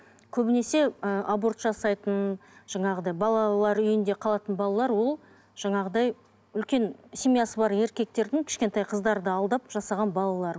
көбінесе ііі аборт жасайтын жаңағыдай балалар үйінде қалатын балалар ол жаңағыдай үлкен семьясы бар еркектердің кішкентай қыздарды алдап жасаған балалары